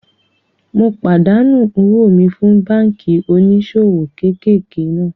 Mo pàdánù owó mi fún báànkì oníṣòwò kéékèèké náà